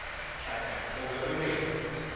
thaka o be o reng